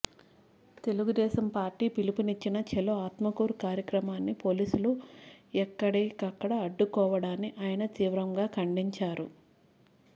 Telugu Desam party పిలుపునిచ్చిన ఛలో ఆత్మకూరు కార్యక్రమాన్ని పోలీసులు ఎక్కడిక్కడ అడ్డుకోవడాన్ని ఆయన తీవ్రంగా ఖండించారు